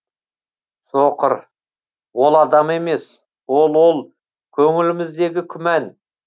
соқыр ол адам емес ол ол көңіліміздегі күмән